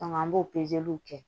an b'o pezeliw kɛ